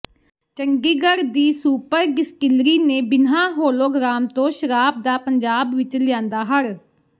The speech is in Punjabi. ਚੰਡੀਗੜ੍ਹ ਦੀ ਸੁਪਰ ਡਿਸਟਿਲਰੀ ਨੇ ਬਿਨ੍ਹਾਂ ਹੋਲੋਗ੍ਰਾਮ ਤੋਂ ਸ਼ਰਾਬ ਦਾ ਪੰਜਾਬ ਵਿੱਚ ਲਿਆਂਦਾ ਹੜ੍ਹ